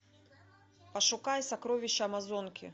пошукай сокровище амазонки